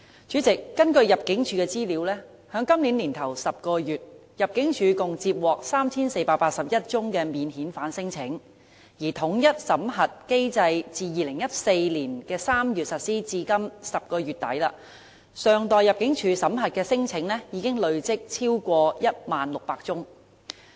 主席，根據香港入境事務處的資料，在今年首10個月，入境處共接獲 3,481 宗免遣返聲請；而統一審核機制自2014年3月實施至今年10月底，尚待入境處審核的聲請已經累積超過 10,600 宗。